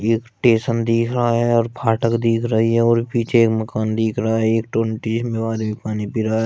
एक टेशन दिख रहा है फाटक दिख रही है और पीछे एक मकान दिख रहा है एक वो आदमी पानी पी रहा है।